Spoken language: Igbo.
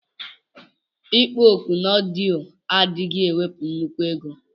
Ikpọ oku na ọdiọ adighi ewepu nnukwu ego.